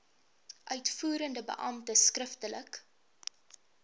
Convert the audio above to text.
uitvoerende beampte skriftelik